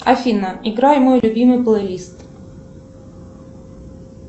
афина играй мой любимый плейлист